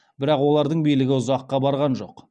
бірақ олардың билігі ұзаққа барған жоқ